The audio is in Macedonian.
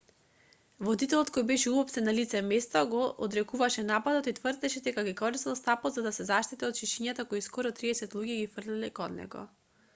водителот кој беше уапсен на лице место го одрекуваше нападот и тврдеше дека го користел стапот за да се заштити од шишињата кои скоро триесет луѓе ги фрлале кон него